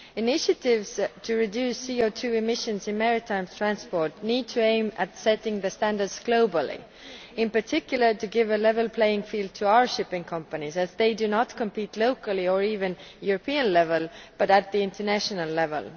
Initiatives to reduce CO2 emissions in maritime transport need to aim at setting the standards globally, in particular to give a level playing field to our shipping companies as they do not compete locally, or even at European level, but at the international level.